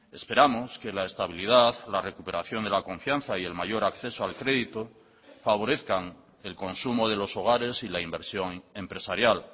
esperamos que la estabilidad la recuperación de la confianza y el mayor acceso al crédito favorezcan el consumo de los hogares y la inversión empresarial